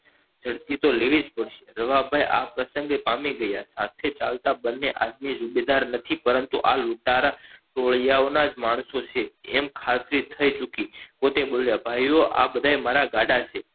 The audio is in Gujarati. તો લેવી જ પડશે રવા ભાઈ આ પ્રસન્ગે પામી ગયા સાથે ચાલતા નથી પરંતુ આ લૂંટારા ટોળીયાઓના જ માણસો છે એમ ખાતરી થઇ ચુકી પોતે બોલ્યા ભાઈઓ આ બધા મારા ગાળા ઓ છે